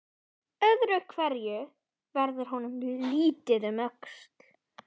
Öðru hverju verður honum litið um öxl.